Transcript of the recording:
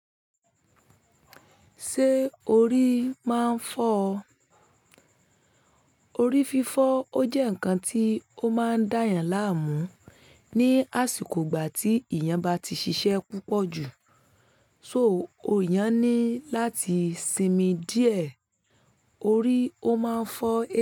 Ṣé orí máa ń fọ́? Orí fífọ́ ó jẹ́ nǹkan tí ó máa ń dá èyàn láàmú ní àsìkò ìgbà tí èyàn bá ti ṣiṣẹ́ púpọ̀ jù, so èyàn ni láti sinmi díẹ̀, orí ó máa ń fọ́